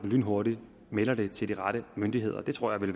lynhurtigt melder det til de rette myndigheder jeg tror det